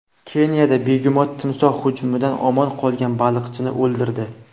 Keniyada begemot timsoh hujumidan omon qolgan baliqchini o‘ldirdi.